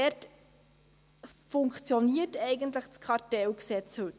Dort funktioniert heute eigentlich das Kartellgesetz.